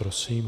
Prosím.